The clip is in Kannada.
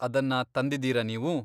ಅದನ್ನ ತಂದಿದ್ದೀರಾ ನೀವು?